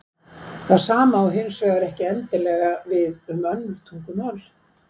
Það sama á hins vegar ekki endilega við um önnur tungumál.